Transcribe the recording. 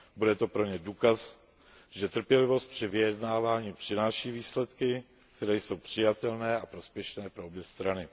Bude to pro ně důkaz, že trpělivost při vyjednávání přináší výsledky, které jsou přijatelné a prospěšné pro obě strany.